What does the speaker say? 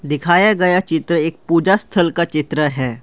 दिखाया गया चित्र एक पूजा स्थल का चित्र है।